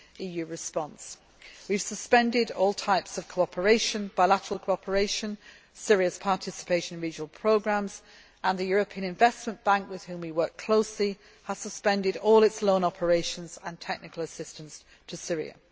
EU response. We have suspended all types of cooperation, including bilateral cooperation, and Syria's participation in regional programmes. The European Investment Bank, with which we work closely, has suspended all its loan operations and technical assistance to Syria.